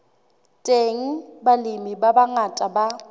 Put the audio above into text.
teng balemi ba bangata ba